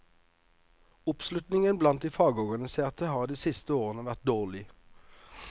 Oppslutningen blant de fagorganiserte har de siste årene vært dårlig.